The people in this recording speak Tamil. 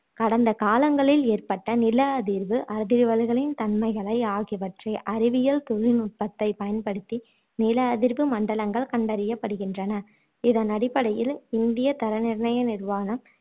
கடந்த காலங்களில் ஏற்பட்ட நில அதிர்வு அதிர்வலைகளின் தன்மைகளை அகியவற்றை அறிவியல் தொழில் நுட்பத்தைப் பயன்படுத்தி நில அதிர்வு மண்டலங்கள் கண்டறியப்படுகின்றன இதனடிப்படையில் இந்திய தர நிர்ணய நிறுவனம்